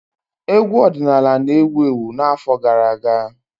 Egwu ọdịnala na-ewu ewu n'afọ gara aga.